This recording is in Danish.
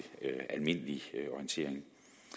almindelig orientering